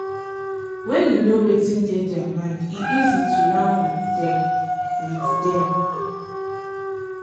when you know wetin dey their mind e easy to yarn with dem. with dem.